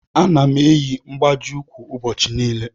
Ana m eyi mgbaji ukwu ụbọchị niile.